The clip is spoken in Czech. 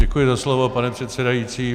Děkuji za slovo, pane předsedající.